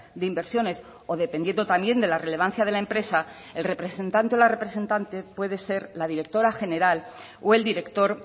de inversiones o dependiendo también de la relevancia de la empresa el representante o la representante puede ser la directora general o el director